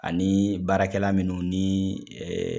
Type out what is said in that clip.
Ani baarakɛla minnu ni ɛɛ